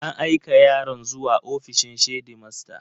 An aika yaron zuwa ofishin shedimasta.